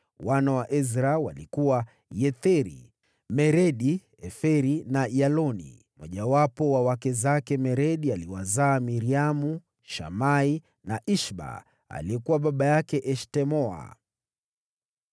Wana wa Ezra walikuwa: Yetheri, Meredi, Eferi na Yaloni. Mmojawapo wa wake zake Meredi aliwazaa: Miriamu, Shamai na Ishba aliyekuwa baba yake Eshtemoa.